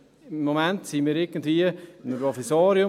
Im Moment sind wir irgendwie in einem Provisorium.